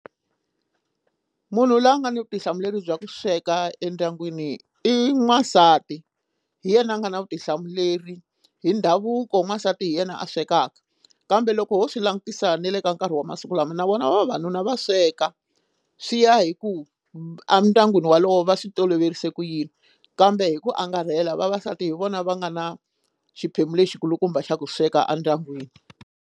Munhu loyi a nga ni vutihlamuleri bya ku sweka endyangwini i n'wansati hi yena a nga na vutihlamuleri hi ndhavuko n'wansati hi yena a swekaka kambe loko ho swi langutisa ni le ka nkarhi wa masiku lama na vona vavanuna va sweka swi ya hi ku endyangwini wolowo va swi toloverise ku yini kambe hi ku angarhela vavasati hi vona va nga na xiphemu lexi kulukumba xa ku sweka endyangwini.